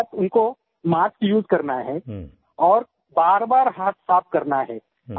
दूसरी बात उनको मास्क उसे करना है और बारबार हाथ साफ़ करना है